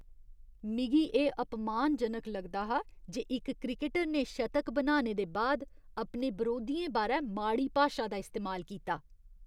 मिगी एह् अपमानजनक लगदा हा जे इक क्रिकटर ने शतक बनाने दे बाद अपने बरोधियें बारै माड़ी भाशा दा इस्तेमाल कीता।